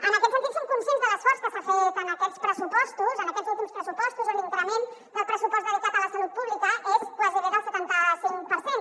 en aquest sentit som conscients de l’esforç que s’ha fet en aquests últims pressupostos on l’increment del pressupost dedicat a la salut pública és gairebé del setanta cinc per cent